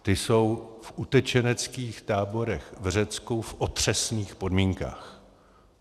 Ty jsou v utečeneckých táborech v Řecku v otřesných podmínkách.